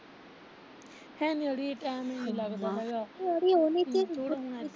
ਹੈਨੀ ਅੜੀ ਟੈਮ ਹੀ ਨੀ ਲੱਗਦਾ ਹੈਗਾ